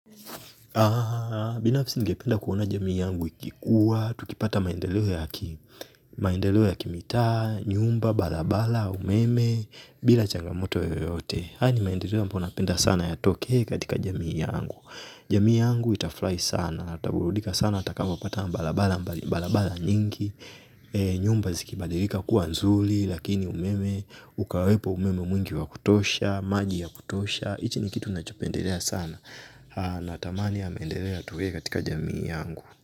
Binafisi ningependa kuona jamii yangu ikikua. Tukipata maendeleo ya kimitaa nyumba, balabala, umeme. Bila changamoto yoyote haya ni maendeleo ambayo napenda sana yatokee katika jamii yangu. Jamii yangu itafrai sana. Ataburudika sana, atakapo pata mbalabala nyingi. Nyumba zikibadilika kuwa nzuli. Lakini umeme, ukawepo umeme mwingi wa kutosha. Maji ya kutosha, ichi ni kitu nachopendelea sana. Natamani ya mendere ya tuwe katika jamii yangu.